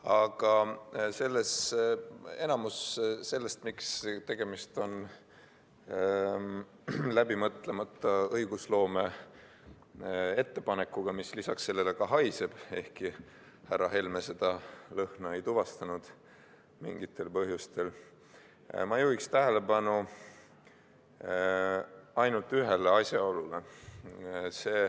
Aga enamus sellest, miks tegemist on läbimõtlemata õigusloome ettepanekuga, mis lisaks sellele ka haiseb, ehkki härra Helme seda lõhna ei tuvastanud mingil põhjusel, ma juhiksin tähelepanu ainult ühele asjaolule.